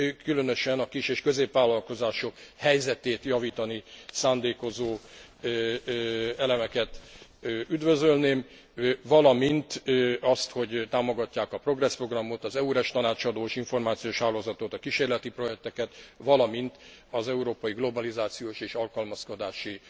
Különösen a kis és középvállalkozások helyzetét javítani szándékozó elemeket üdvözölném, valamint azt, hogy támogatják a Progress programot, az EURES tanácsadó és információs hálózatot, a kísérleti projekteket, valamint az Európai Globalizációs és Alkalmazkodási